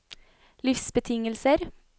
livsbetingelser